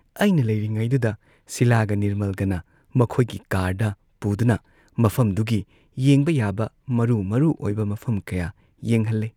ꯑꯩꯅ ꯂꯩꯔꯤꯉꯩꯗꯨꯗ ꯁꯤꯂꯥꯒ ꯅꯤꯔꯃꯜꯒꯅ ꯃꯈꯣꯏꯒꯤ ꯀꯥꯔꯗ ꯄꯨꯗꯨꯅ ꯃꯐꯝꯗꯨꯒꯤ ꯌꯦꯡꯕ ꯌꯥꯕ ꯃꯔꯨ ꯃꯔꯨ ꯑꯣꯏꯕ ꯃꯐꯝ ꯀꯌꯥ ꯌꯦꯡꯍꯜꯂꯦ ꯫